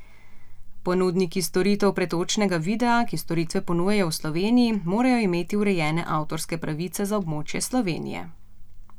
Ponudniki storitev pretočnega videa, ki storitve ponujajo v Sloveniji, morajo imeti urejene avtorske pravice za območje Slovenije.